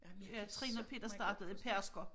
Ja Trine og Peter startede i Pedersker